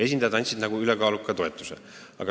Esindajad avaldasid nagu ülekaalukat toetust.